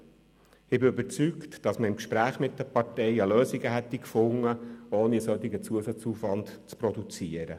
Ich bin überzeugt, dass man im Gespräch mit den Parteien eine Lösung gefunden hätte, ohne einen solchen Zusatzaufwand zu produzieren.